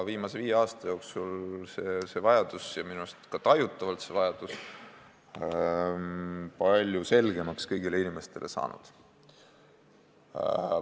Viimase viie aasta jooksul on see vajadus minu arust ka tajutavalt kõigile inimestele palju selgemaks saanud.